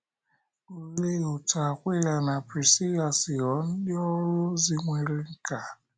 Olee otú Akwịla na Prisila si ghọọ ndị ọrụ ozi nwere nkà?